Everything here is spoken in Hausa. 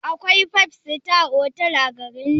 Akwai five star otal a garin nan?